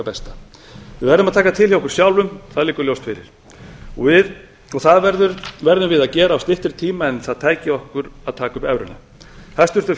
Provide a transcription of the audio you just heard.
besta við verðum að taka til hjá okkur sjálfum það liggur ljóst fyrir það verðum við að gera á styttri tíma en það tæki okkur að taka upp evruna hæstvirtur